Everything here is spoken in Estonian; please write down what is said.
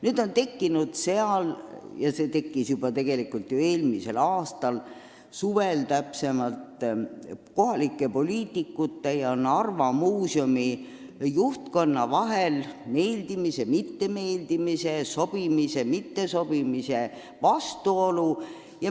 Nüüd on seal tekkinud – see tekkis juba eelmise aasta suvel – kohalike poliitikute ja Narva Muuseumi juhtkonna vahel vastuolud meeldimise-mittemeeldimise, sobimise-mittesobimise pinnal.